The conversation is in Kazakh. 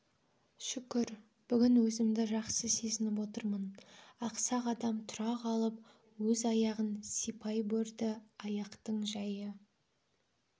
шүкір бүгін өзімді жақсы сезініп отырмын ақсақ адам тұра қалып өз аяғын сипай борді аяқтың жайы